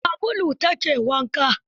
Da sabulu ta ke wanka.